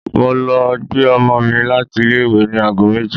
Mo lọ gbé ọmọ mi láti ilé-ìwé ní ago méjì.